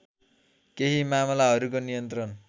केही मामलाहरूको नियन्त्रण